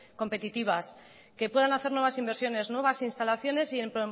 competitivas que puedan hacer nuevas inversiones nuevas instalaciones y en